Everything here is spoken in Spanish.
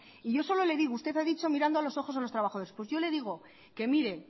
y yo solo le digo usted ha dicho mirando a los ojos a los trabajadores pues yo le digo que mire